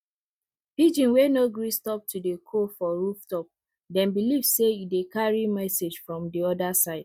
pigeon wey no gree stop to dey coo for rooftop dem believe say e dey carry message from the other side